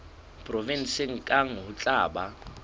provenseng kang ho tla ba